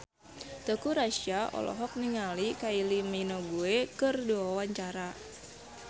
Teuku Rassya olohok ningali Kylie Minogue keur diwawancara